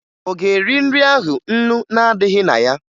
Ọ ga-eri nri ahụ ńnú na-adịghị na ya?